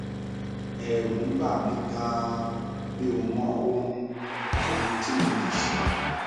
ẹrù ń bà mí ganan mi ò mọ ohun ohun tí mo lè ṣe